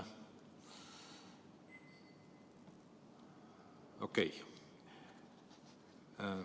Okei.